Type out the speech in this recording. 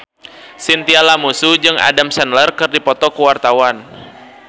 Chintya Lamusu jeung Adam Sandler keur dipoto ku wartawan